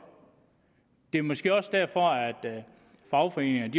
det er måske også derfor at fagforeningerne